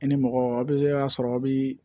I ni mɔgɔ a bɛ a sɔrɔ aw bi